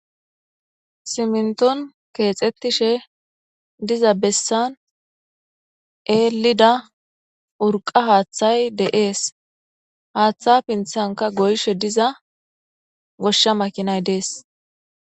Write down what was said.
Simminton keexxettishe diza bessan eelida urqa haaththay de'es. Haaththa pinthanka goyshe diza goshsha makinay dees.